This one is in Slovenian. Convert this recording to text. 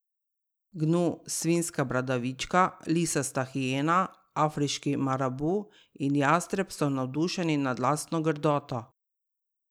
Gnu, svinja bradavičarka, lisasta hijena, afriški marabu in jastreb so navdušeni nad lastno grdoto.